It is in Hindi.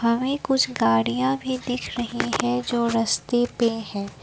वहीं कुछ गाड़ियां भी दिख रही हैं। जो रस्ते पे हैं।